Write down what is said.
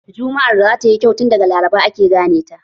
Jumma'ar da zatayi kyau tun daga laraba ake gane ta